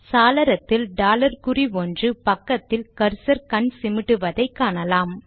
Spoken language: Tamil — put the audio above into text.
சாளரத்தில் டாலர் குறி ஒன்று பக்கத்தில் கர்சர் கண் சிமிட்டுவதை காணலாம்